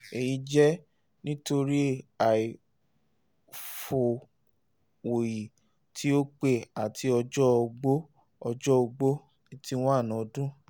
eyi jẹ nitori aifọwọyi ti o pẹ ati ọjọ ogbó ọjọ ogbó eighty one ọdun